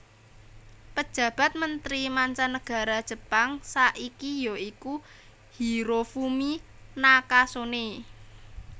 Pejabat Mentri Manca Nagara Jepang saiki ya iku Hirofumi Nakasone